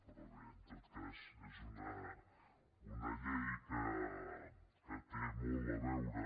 però bé en tot cas és una llei que té molt a veure